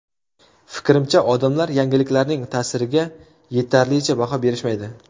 Fikrimcha, odamlar yangiliklarning ta’siriga yetarlicha baho berishmaydi”.